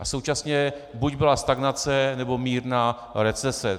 A současně buď byla stagnace, nebo mírná recese.